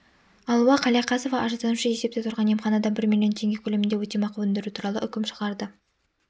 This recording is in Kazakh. алуа қалияқасова арызданушы есепте тұрған емханадан бір миллион теңге көлемінде өтемақы өндіру туралы үкім шығарды